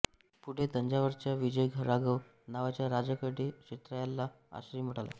पुढे तंजावरच्या विजयराघव नावाच्या राजाकडे क्षेत्रय्याला आश्रय मिळाला